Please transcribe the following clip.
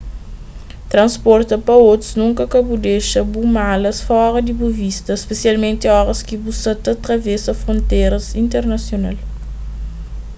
transporta pa otus nunka ka bu dexa bu malas fora di bu vista spesialmenti oras ki bu sa ta travesa fronteras internasional